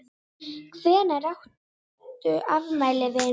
Hvenær áttu afmæli vinur?